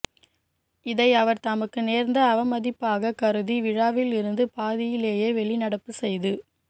இதை அவர் தனக்கு நேர்ந்த அவமதிப்பாக கருதி விழாவில் இருந்து பாதியிலேயே வெளிநடப்பு செய்து